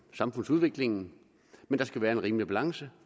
samfundsudviklingen men der skal være en rimelig balance